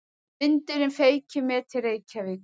Vindurinn feykir mér til Reykjavíkur.